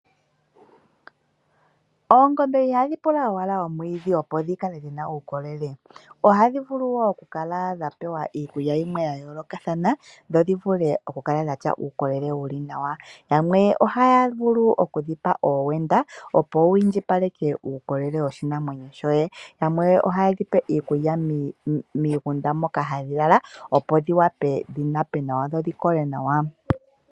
Oongombe ihadhi pula owala omwiidhi dhi kale dhina uukolele, ohadhi vulu wo oku kala dha pewa iikulya yimwe ya yoolokathana dho dhi vule oku kala dhatya uukolele wuli nawa. Yamwe ohaya vulu okudhi pa owenda opo wiindjipale ke uukolele woshinamwenyo shoye. Yamwe ohaye dhi pe iikulya miigunda moka hadhi lala, opo dhi wape dhi nape nawa.